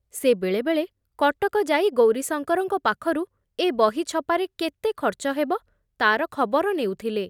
ସେ ବେଳେ ବେଳେ କଟକ ଯାଇ ଗୌରୀଶଙ୍କରଙ୍କ ପାଖରୁ ଏ ବହି ଛପାରେ କେତେ ଖର୍ଚ୍ଚ ହେବ ତାର ଖବର ନେଉଥିଲେ ।